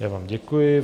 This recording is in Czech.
Já vám děkuji.